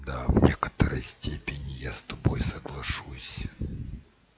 да в некоторой степени я с тобой соглашусь